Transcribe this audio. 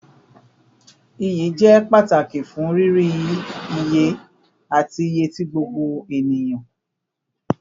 Iyi jẹ pataki fun riri iye ati iye ti gbogbo eniyan